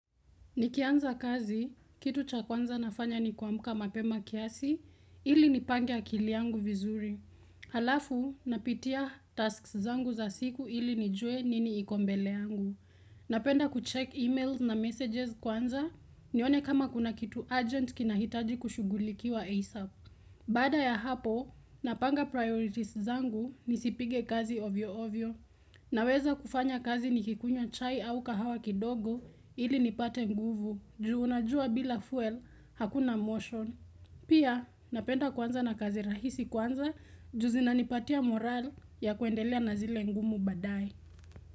Nikianza kazi, kitu cha kwanza nafanya ni kuamka mapema kiasi, ili nipange akili yangu vizuri. Halafu, napitia tasks zangu za siku ili nijue nini iko mbele yangu. Napenda kucheck emails na messages kwanza, nione kama kuna kitu urgent kinahitaji kushugulikiwa ASAP. Baada ya hapo, napanga priorities zangu nisipige kazi ovyo ovyo. Na weza kufanya kazi ni kikunywa chai au kahawa kidogo ili nipate nguvu juu unajua bila fuel hakuna motion. Pia napenda kuanza na kazi rahisi kwanza juu zinanipatia moral ya kuendelea na zile ngumu badae.